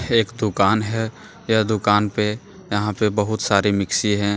एक दुकान है यह दुकान पे यहां पे बहुत सारे मिक्सी है।